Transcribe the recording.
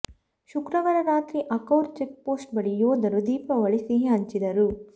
ಶುಕ್ರವಾರ ರಾತ್ರಿ Akhaura check post ಬಳಿ ಯೋಧರು ದೀಪಾವಳಿ ಸಿಹಿ ಹಂಚಿದರು